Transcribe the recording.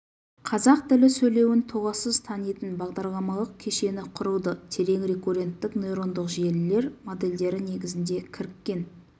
қазақ тілі сөйлеуін толассыз танитын бағдарламалық кешені құрылды терең рекурренттік нейрондық желілер модельдері негізінде кіріккен